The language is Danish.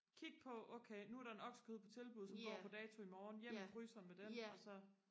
kig på okay nu er der en oksekød på tilbud som går på dato imorgen hjem i fryseren med den og så